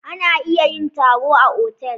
Ana iya yin taro a otal.